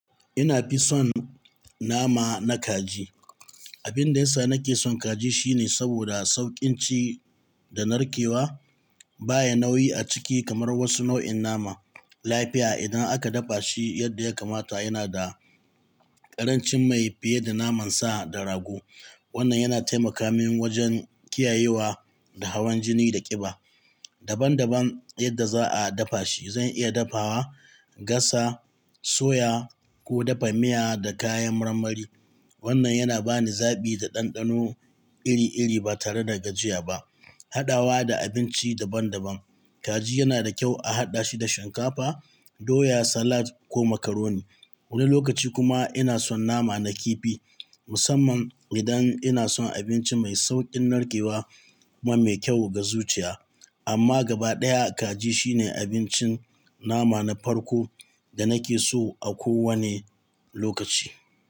Ina fi son nama na kaji. Abin da yasa nake son kaji shine saboda sauƙin ci da narkewa. Baya nauyi a ciki kamar wasu nau'in nama. Laifiya idan aka dafa shi yadda ya kamata, yana da ƙarancin mai fiye da naman sa da rago. Wannan yana taimaka min wajen kiyayewa da hawan jini da ƙiba. Daban-daban yadda za a dafa shi, zan iya dafawa, gasa, soya ko dafa miya da kayan marmari. Wannan yana bani zabi da ɗanɗano iri-iri ba tare da gajiya ba. Haɗawa da abinci daban-daban, kaji yana da kyau a haɗashi da shinkafa, doya, salad ko macaroni. Wani lokaci kuma ina son nama na kifi, musamman idan ina son abinci mai sauƙin narkewa kuma mai kyau ga zuciya. Amma gaba ɗaya kaji shine abincin nama na farko da nake so a kowane lokaci.